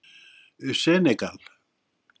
Senegal